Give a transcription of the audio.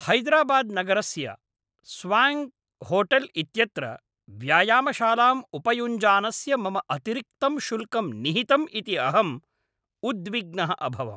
हैदराबाद् नगरस्य स्वाङ्क्होटेल् इत्यत्र व्यायामशालाम् उपयुञ्जानस्य मम अतिरिक्तं शुल्कं निहितम् इति अहं उद्विग्नः अभवम्।